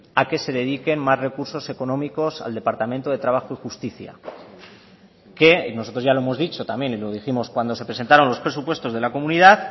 a que se dediquen más recursos económicos al departamento de trabajo y justicia que nosotros ya lo hemos dicho también y lo dijimos cuando se presentaron los presupuestos de la comunidad